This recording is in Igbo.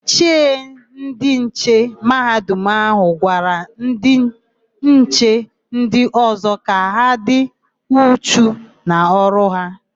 Ichie ndịnche Mahadum áhụ̀ gwara ndịnche ndị ọ̀zọ́ ka ha dị uchu n'ọrụ ha.